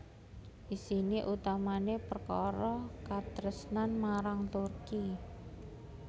Isiné utamané perkara katresnan marang Turki